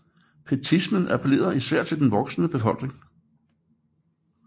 Pietismen appellerede især til den voksende middelklasse